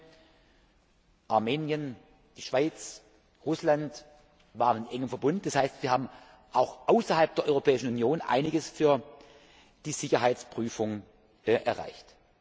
Ukraine, Armenien, die Schweiz und Russland waren eng eingebunden, das heißt, wir haben auch außerhalb der Europäischen Union einiges für die Sicherheitsprüfung erreicht.